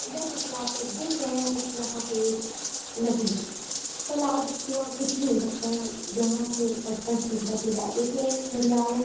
जैसे की आप लोग देख रहे हैं यहां पर एक नदी है तालाब कुआ कुछ भी हो सकता है यहां से स्पष्ट नहीं पता चल रहा है उसमें एक घड़ियाल है।